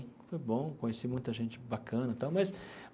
Foi bom conheci muita gente bacana e tal mas.